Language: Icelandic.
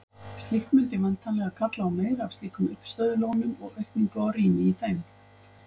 Slíkt mundi væntanlega kalla á meira af slíkum uppistöðulónum og aukningu á rými í þeim.